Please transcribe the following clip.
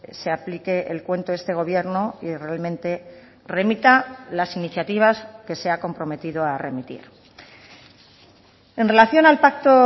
se aplique el cuento este gobierno y realmente remita las iniciativas que se ha comprometido a remitir en relación al pacto